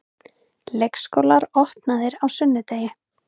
Leikskólar opnaðir á sunnudegi